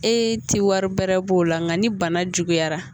E tɛ wari bɛrɛ b'o la nka ni bana juguyara